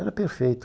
Era perfeito.